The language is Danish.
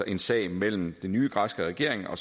en sag mellem den nye græske regering og